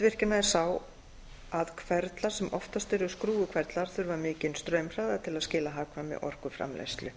sundavirkjana er sá að hverflarnir sem oftast eru skrúfuhverflar þurfa mikinn straumhraða til að skila hagkvæmri orkuframleiðslu